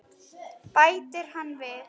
bætti annar við.